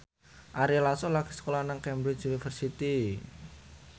Ari Lasso lagi sekolah nang Cambridge University